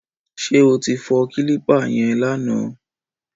Ṣé o ti fọ kílípà yẹn lánàá?